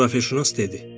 Coğrafiyaçünas dedi.